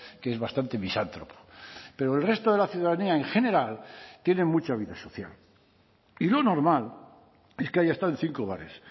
que es bastante misántropo pero el resto de la ciudadanía en general tiene mucha vida social y lo normal es que haya estado en cinco bares